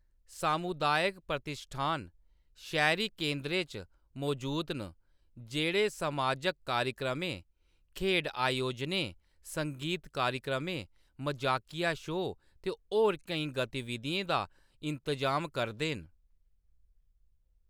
सामुदायक प्रतिश्ठान शैह्‌‌‌री केंदरें च मजूद न जेह्‌‌ड़े समाजक कार्यक्रमें, खेढ आयोजनें, संगीत कार्यक्रमें, मजाकिया शोऽ ते होर केईं गतिविधिएं दा इंतजाम करदे न।